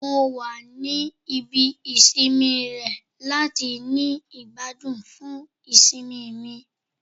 Mo wa ni ibi isinmi rẹ lati ni igbadun fun isinmi mi